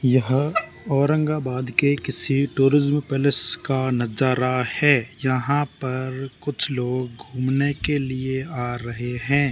यह औरंगाबाद के किसी टूरिज्म पैलेस का नजारा है यहां पर कुछ लोग घूमने के लिए आ रहे हैं।